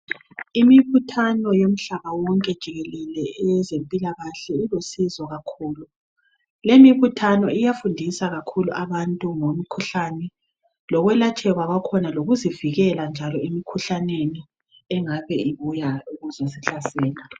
Imibuthano yomhlaba wonke jikelele eyezemphilakahle ilosizo kakhulu. Le mibuthano iyafundisa kakhulu abantu ngomkhuhlane, lokulatsgekwa kwakhona, lokuzivikela njalo emikhuhlaneni engabe ibuya kuzosihlasela.